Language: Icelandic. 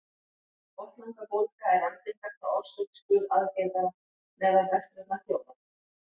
botnlangabólga er algengasta orsök skurðaðgerða meðal vestrænna þjóða